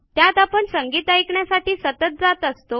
त्यात आपण संगीत ऐकण्यासाठी सतत जात असतो